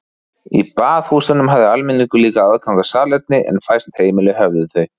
Í baðhúsunum hafði almenningur líka aðgang að salerni en fæst heimili höfðu þau.